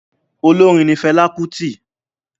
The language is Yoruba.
Olórin ni Fẹlá Kútì.